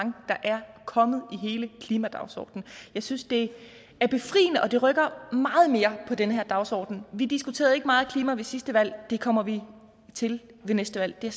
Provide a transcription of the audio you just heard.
der er kommet i hele klimadagsordenen jeg synes det er befriende og det rykker meget mere ved den her dagsorden vi diskuterede ikke meget klima ved sidste valg og det kommer vi til ved næste valg det er